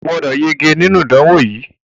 O gbọ́dọ̀ yege nínú ìdánwò yìí!